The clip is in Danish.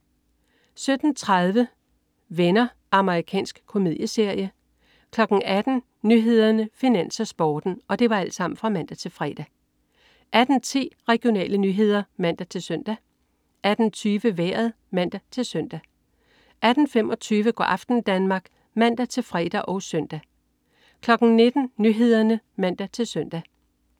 17.30 Venner. Amerikansk komedieserie (man-fre) 18.00 Nyhederne, Finans, Sporten (man-fre) 18.10 Regionale nyheder (man-søn) 18.20 Vejret (man-søn) 18.25 Go' aften Danmark (man-fre og søn) 19.00 Nyhederne (man-søn)